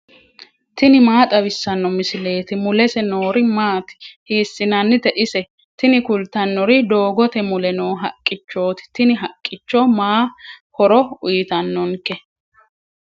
tini maa xawissanno misileeti? mulese noori maati? hiissinannite ise? tini kultannori doogote mule noo haqqichooti. tini haqqicho ma horo uyiitannonke?